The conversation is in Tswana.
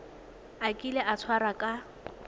a kile a tshwarwa ka